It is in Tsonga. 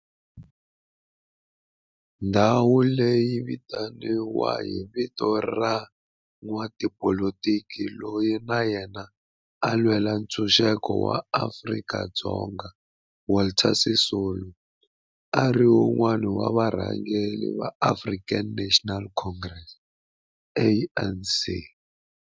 Ndhawo leyi yi vitaniwa hi vito ra n'watipolitiki loyi na yena a lwela ntshuxeko wa maAfrika-Dzonga Walter Sisulu, a ri wun'wana wa varhangeri va African National Congress, ANC.